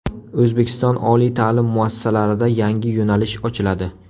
O‘zbekiston oliy ta’lim muassasalarida yangi yo‘nalish ochiladi.